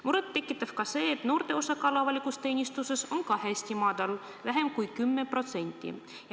Muret tekitab ka see, et noorte osakaal avalikus teenistuses on hästi väike, vähem kui 10%.